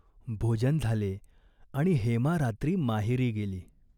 भोजन झाले आणि हेमा रात्री माहेरी गेली.